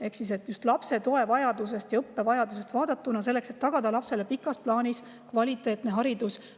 Ehk siis just lapse toevajadust ja õppevajadust vaadatakse, selleks et tagada lapsele pikas plaanis kvaliteetne haridus.